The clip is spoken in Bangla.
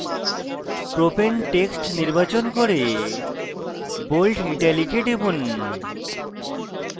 propane text নির্বাচন করে bold italic এ টিপুন